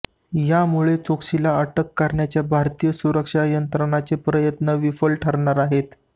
यामुळे चोक्सीला अटक करण्याचे भारतीय सुरक्षा यंत्रणेचे प्रयत्न विफल ठरणार आहेत